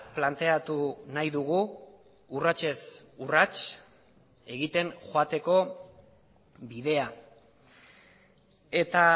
planteatu nahi dugu urratsez urrats egiten joateko bidea eta